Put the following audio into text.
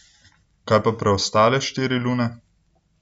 Kaj pa preostale štiri lune?